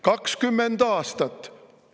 20 aastat!